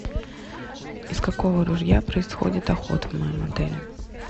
из какого ружья происходит охота в моем отеле